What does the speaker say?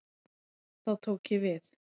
Þá tók ég við.